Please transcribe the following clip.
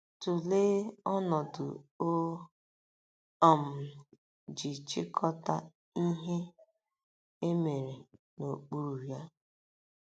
Tụlee ọnọdụ o um ji chịkọta Ihe E Mere n'okpuru ya.